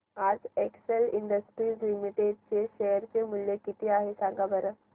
आज Excel Industries Limited चे share चे मूल्य किती आहे सांगा बरं